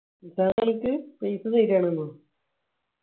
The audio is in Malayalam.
നിസ്സാം ആണെന്നോ?